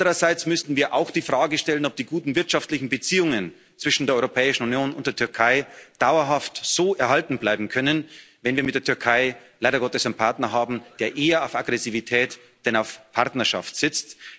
Andererseits müssten wir auch die Frage stellen, ob die guten wirtschaftlichen Beziehungen zwischen der Europäischen Union und der Türkei dauerhaft so erhalten bleiben können, wenn wir mit der Türkei leider Gottes einen Partner haben, der eher auf Aggressivität denn auf Partnerschaft setzt.